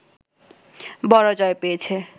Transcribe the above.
বড় জয় পেয়েছে